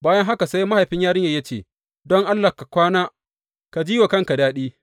Bayan haka sai mahaifin yarinyar ya ce, Don Allah ka kwana ka ji wa kanka daɗi.